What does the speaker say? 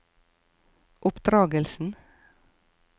oppdragelsen